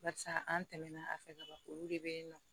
Barisa an tɛmɛna a fɛ ka ban olu de bɛ yen nɔ